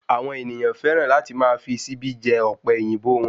Àwọn ènìyàn féràn láti máa fi síbí jẹ Ọ̀pẹ̀yìnbó won